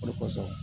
Olu kosɔn